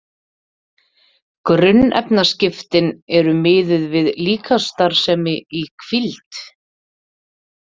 Grunnefnaskiptin eru miðuð við líkamsstarfsemi í hvíld.